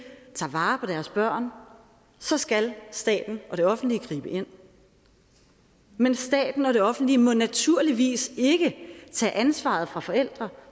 tager vare på deres børn så skal staten og det offentlige gribe ind men staten og det offentlige må naturligvis ikke tage ansvaret fra forældre